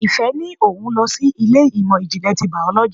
Ìfẹ́ ní òun lọ sí ilé ìmọ̀ ìjìnlẹ̀ ti biology.